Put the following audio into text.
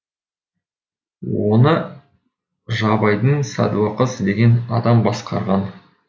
оны жабайдың сәдуакасы деген адам басқарған